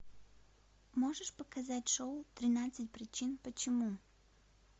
можешь показать шоу тринадцать причин почему